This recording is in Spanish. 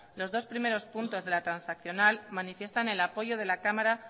los dos primeros puntos de la transaccional manifiestan el apoyo de la cámara